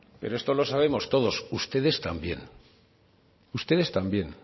pero esto lo sabemos todos ustedes también ustedes también